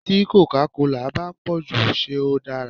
Tí còcá colà bá pòjù ṣé ó dára.